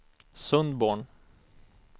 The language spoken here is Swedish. Sundborn